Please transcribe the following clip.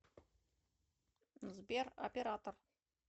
сбер оператор